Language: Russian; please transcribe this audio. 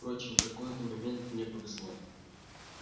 впрочем в какой-то момент мне повезло